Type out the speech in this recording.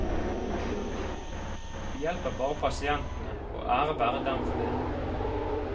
De hjelper bare pasientene, og ære være dem for det.